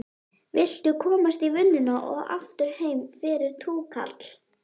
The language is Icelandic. Viltu komast í vinnuna og aftur heim fyrir túkall?